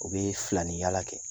O bɛ filani yaala kɛ